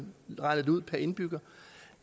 regner det ud per indbygger